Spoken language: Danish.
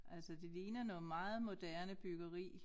Altså det ligner noget meget moderne byggeri